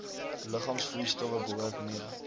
liggaamsvloeistowwe behoort mee